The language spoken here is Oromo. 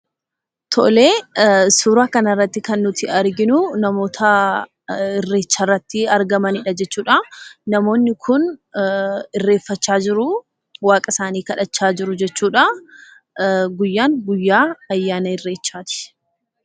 Tole suura kana irratti kan nuti arginu namoota Irreecha irratti argaman jechuudha. Namoonni kun Irreeffachaa jiru waaqa isaani kadhachaa jiru jechuudha. Guyyaan guyyaa ayyaana Irreechaati.